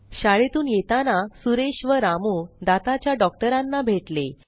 शाळेतून येताना सुरेश व रामू दाताच्या डॉक्टरांना भेटले